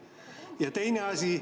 Ja teine asi …